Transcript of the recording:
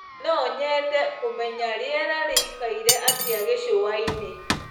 nonyende kũmenya rĩera rĩĩkaĩre atĩa gicũaĩnĩ